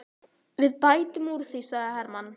Við bætum úr því, sagði Hermann.